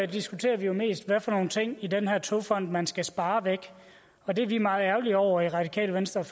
diskuterer vi jo mest hvad for nogle ting i den her togfonden dk man skal spare væk og det er vi meget ærgerlige over i radikale venstre